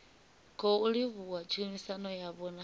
khou livhuwa tshumisano yavho na